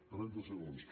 trenta segons